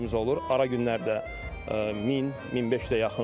Ara günlərdə 1000-1500-ə yaxın olub.